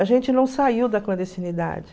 A gente não saiu da clandestinidade.